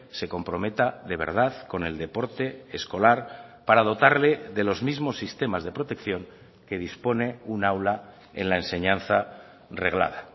se comprometa de verdad con el deporte escolar para dotarle de los mismos sistemas de protección que dispone un aula en la enseñanza reglada